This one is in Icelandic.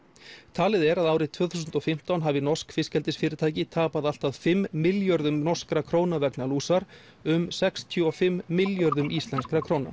talið er að árið tvö þúsund og fimmtán hafi norsk fiskeldisfyrirtæki tapað allt að fimm milljörðum norskra króna vegna lúsar um sextíu og fimm milljörðum íslenskra króna